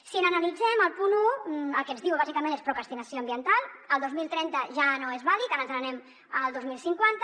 si n’analitzem el punt un el que ens diu bàsicament és procrastinació ambiental el dos mil trenta ja no és vàlid ara ens n’anem al dos mil cinquanta